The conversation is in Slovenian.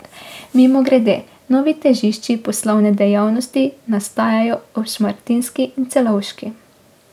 Mimogrede, novi težišči poslovne dejavnosti nastajajo ob Šmartinski in Celovški.